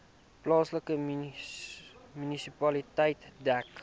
plaaslike munisipaliteit dek